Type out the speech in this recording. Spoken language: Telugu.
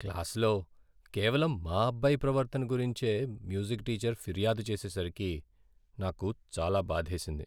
క్లాసులో కేవలం మా అబ్బాయి ప్రవర్తన గురించే మ్యూజిక్ టీచర్ ఫిర్యాదు చేసేసరికి నాకు చాలా బాధేసింది.